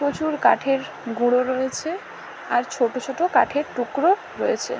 প্রচুর কাঠের গুঁড়ো রয়েছে। আর ছোট ছোট কাঠের টুকরো রয়েছে ।